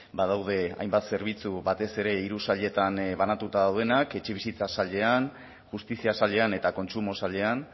badaude hainbat zerbitzu batez ere hiru sailetan banatuta daudenak etxebizitza sailean justizia sailean eta kontsumo sailean